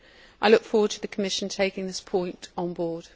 I look forward to the Commission taking this point on board.